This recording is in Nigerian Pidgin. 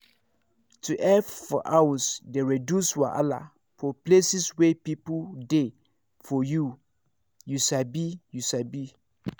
to help for house dey reduce wahala for places wey people dey for you you sabi you sabi